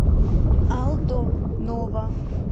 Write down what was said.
алдо нова